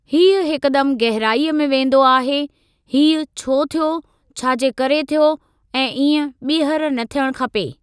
हीअ हिकदम गहराईअ में वेंदो आहे हीअ छो थियो छा जे करे थियो ऐं इएं ॿीहर न थियणु खपे।